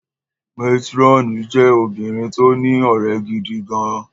Matironi jẹ́ obìnrin tó ní ọ̀rẹ́ gidi gan-an.